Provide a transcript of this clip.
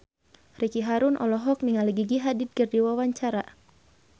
Ricky Harun olohok ningali Gigi Hadid keur diwawancara